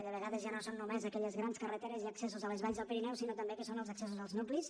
de vegades ja no són només aquelles grans carreteres i accessos a les valls del pirineu sinó també el que són els accessos als nuclis